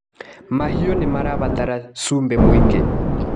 Mahiũ nĩmabataraga cumbĩ mũingĩ.